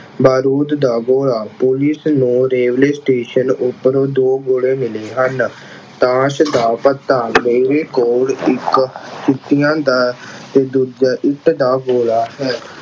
ਬਾਰੂਦ ਦਾ ਗੋਲਾ ਪੁਲਿਸ ਨੂੰ railway station ਉੱਪਰ ਦੋ ਗੋਲੇ ਮਿਲੇ ਹਨ। ਤਾਸ਼ ਦਾ ਪੱਤਾ ਮੇਰੇ ਕੋਲ ਇੱਕ ਦਾ ਤੇ ਦੂਜਾ ਇੱਟ ਦਾ ਗੋਲਾ ਹੈ।